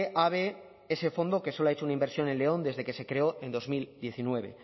abe ese fondo que solo ha hecho una inversión en león desde que se creó en dos mil diecinueve